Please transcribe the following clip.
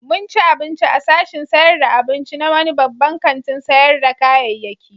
Mun ci abinci a sashin sayar da abinci na wani babban kantin sayar da kayayyaki.